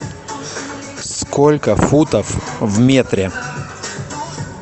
сколько футов в метре